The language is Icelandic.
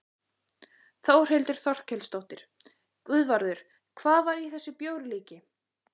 Þórhildur Þorkelsdóttir: Guðvarður, hvað var í þessu bjórlíki?